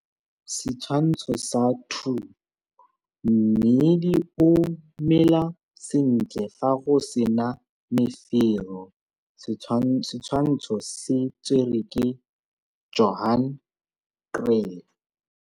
Setshwantsho sa 2 - Mmidi o mela sentle fa go se na mefero. Setshwantsho se tserwe ke Johan Kriel.